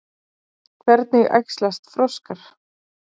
Hvernig æxlast froskar?